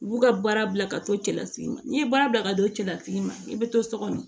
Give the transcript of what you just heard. U b'u ka baara bila ka to cɛlasigi n'i ye baara bila ka to cɛlasigi ma i bɛ to so kɔnɔ